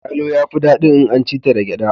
Yalo ya fi dadin in an ci ta da gyada.